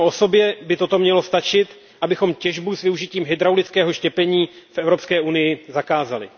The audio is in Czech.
Samo o sobě by toto mělo stačit, abychom těžbu s využitím hydraulického štěpení v Evropské unii zakázali.